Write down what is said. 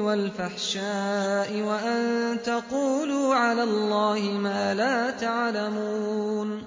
وَالْفَحْشَاءِ وَأَن تَقُولُوا عَلَى اللَّهِ مَا لَا تَعْلَمُونَ